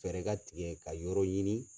Fɛɛrɛ ka tigɛ ka yɔrɔ ɲini